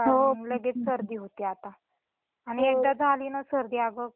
एकदा झाली ना सर्दी अगं मग मुलं खूप किरकिर करतात.